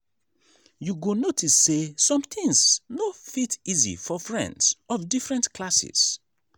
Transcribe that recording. you go notice say some things no fit easy for friends of different classes.